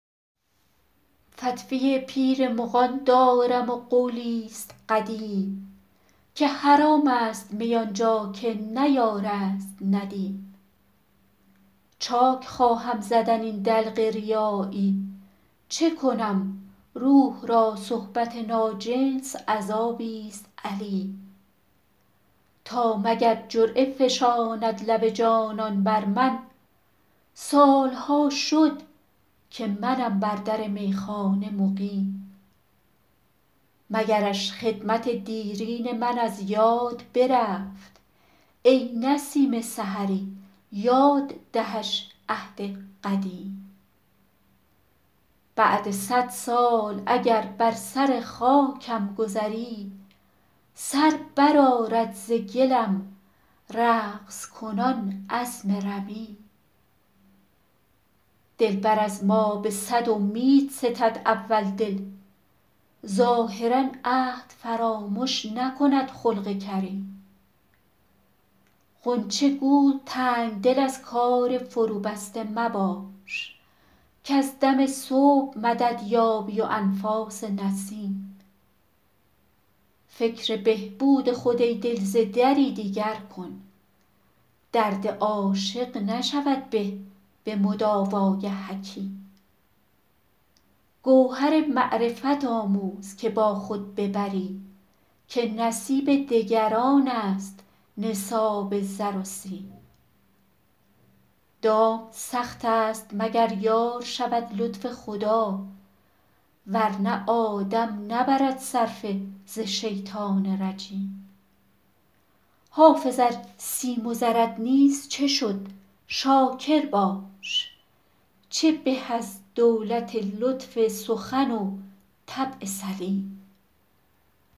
فتوی پیر مغان دارم و قولی ست قدیم که حرام است می آن جا که نه یار است ندیم چاک خواهم زدن این دلق ریایی چه کنم روح را صحبت ناجنس عذابی ست الیم تا مگر جرعه فشاند لب جانان بر من سال ها شد که منم بر در میخانه مقیم مگرش خدمت دیرین من از یاد برفت ای نسیم سحری یاد دهش عهد قدیم بعد صد سال اگر بر سر خاکم گذری سر برآرد ز گلم رقص کنان عظم رمیم دلبر از ما به صد امید ستد اول دل ظاهرا عهد فرامش نکند خلق کریم غنچه گو تنگ دل از کار فروبسته مباش کز دم صبح مدد یابی و انفاس نسیم فکر بهبود خود ای دل ز دری دیگر کن درد عاشق نشود به به مداوای حکیم گوهر معرفت آموز که با خود ببری که نصیب دگران است نصاب زر و سیم دام سخت است مگر یار شود لطف خدا ور نه آدم نبرد صرفه ز شیطان رجیم حافظ ار سیم و زرت نیست چه شد شاکر باش چه به از دولت لطف سخن و طبع سلیم